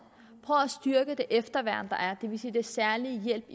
styrke det efterværn der er det vil sige den særlige hjælp